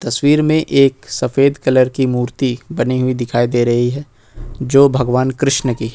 तस्वीर में एक सफेद कलर की मूर्ति बनी हुई दिखाई दे रही है जो भगवान कृष्ण की है।